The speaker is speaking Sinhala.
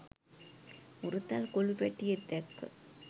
හුරතල් කොලු පැටියෙක් දැක්ක.